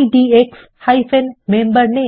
IDX MemberName